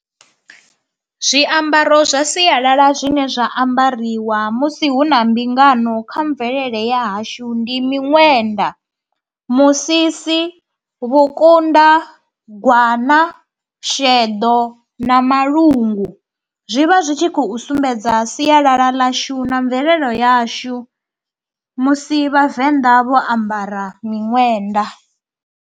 Zwiambaro zwa sialala zwine zwa ambariwa musi hu na mbingano kha mvelele ya hashu ndi miṅwenda, musisi, vhukunda, gwana, sheḓo na malungu. Zwi vha zwi tshi khou sumbedza sialala ḽashu na mvelelo yashu musi vhavenḓa vho ambara miṅwenda.